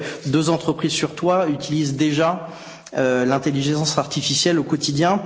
Deux entreprises sur trois utilisent déjà l'intelligence artificielle au quotidien.